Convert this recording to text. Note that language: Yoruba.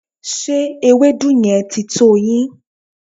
Ṣé ewedu yẹn ti tó yín?